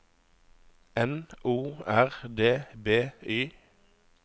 N O R D B Y